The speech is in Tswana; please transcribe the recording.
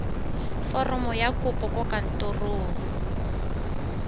foromo ya kopo kwa kantorong